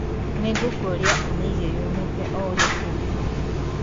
nĩ ngũkũria ũmĩige yomete o ũrĩa kũngĩhoteka